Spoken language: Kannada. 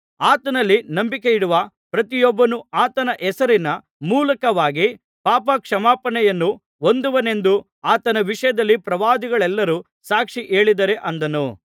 ಆತನಲ್ಲಿ ನಂಬಿಕೆಯಿಡುವ ಪ್ರತಿಯೊಬ್ಬನು ಆತನ ಹೆಸರಿನ ಮೂಲಕವಾಗಿ ಪಾಪ ಕ್ಷಮಾಪಣೆಯನ್ನು ಹೊಂದುವನೆಂದು ಆತನ ವಿಷಯದಲ್ಲಿ ಪ್ರವಾದಿಗಳೆಲ್ಲರು ಸಾಕ್ಷಿ ಹೇಳಿದ್ದಾರೆ ಅಂದನು